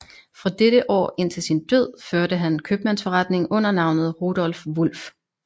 Fra dette år indtil sin død førte han købmandsforretning under navnet Rudolph Wulff